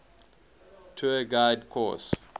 tour guide course